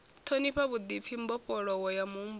ṱhonifhiwa vhuḓipfi mbofholowo ya muhumbulo